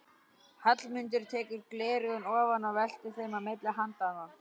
Hallmundur tekur gleraugun ofan og veltir þeim á milli handanna.